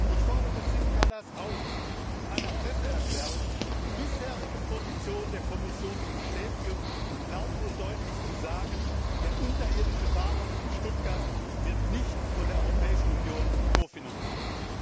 Ich fordere Siim Kallas auf, in einer Presseerklärung die bisherige Position der Kommission zu bestätigen und laut und deutlich zu sagen, der unterirdische Bahnhof in Stuttgart wird nicht von der Europäischen Union kofinanziert.